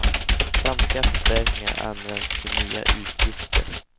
Samtliga förstärkningar används till nya utgifter.